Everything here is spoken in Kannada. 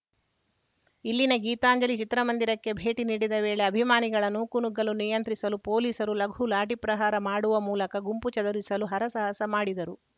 ಇಲ್ಲಿನ ಗೀತಾಂಜಲಿ ಚಿತ್ರ ಮಂದಿರಕ್ಕೆ ಭೇಟಿ ನೀಡಿದ್ದ ವೇಳೆ ಅಭಿಮಾನಿಗಳ ನೂಕು ನುಗ್ಗಲು ನಿಯಂತ್ರಿಸಲು ಪೊಲೀಸರು ಲಘು ಲಾಠಿ ಪ್ರಹಾರ ಮಾಡುವ ಮೂಲಕ ಗುಂಪು ಚದುರಿಸಲು ಹರಸಾಹಸ ಮಾಡಿದರು